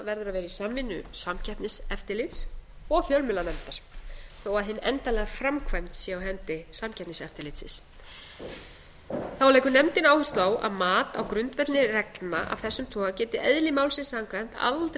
í samvinnu samkeppniseftirlits og fjölmiðlanefndar þó að hin endanlega framkvæmd sé á hendi samkeppniseftirlitsins þá leggur nefndin áherslu á að mat á grundvelli reglna af þessum toga geti eðli málsins samkvæmt aldrei